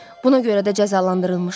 Buna görə də cəzalandırılmışam.